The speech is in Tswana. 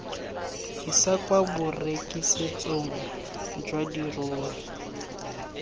isa kwa borekisetsong jwa dirori